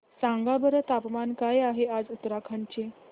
सांगा बरं तापमान काय आहे आज उत्तराखंड चे